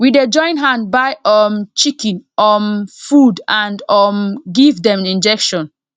we dey join hand buy um chicken um food and um give dem injection